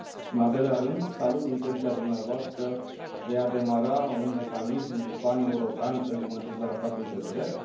În al doilea rând, salut intenția dumneavoastră de a demara un mecanism paneuropean pentru monitorizarea statului de drept.